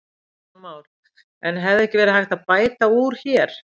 Kristján Már: En hefði ekki verið hægt að bæta úr hér?